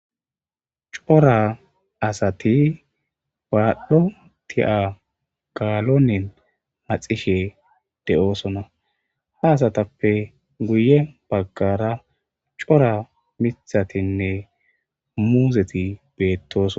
cora asati baadhdho ti7a gaalonen maxishe de7oosona ha asatappe guye baggara cora mithatinne muuzeti beettoson